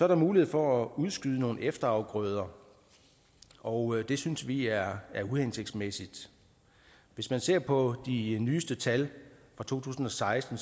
der mulighed for at udskyde nogle efterafgrøder og det synes vi er uhensigtsmæssigt hvis man ser på de nyeste tal fra to tusind og seksten